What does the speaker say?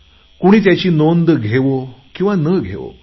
कुणी त्याची नोंद घेवो किंवा न घेवो